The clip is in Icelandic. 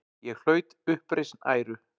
Ég hlaut uppreisn æru.